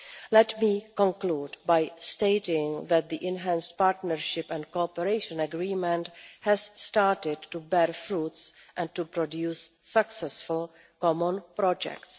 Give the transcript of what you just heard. Let me conclude by stating that the Enhanced Partnership and Cooperation Agreement has started to bear fruit and to produce successful common projects.